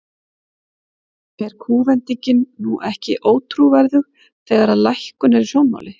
Er kúvendingin nú ekki ótrúverðug, þegar að lækkun er í sjónmáli?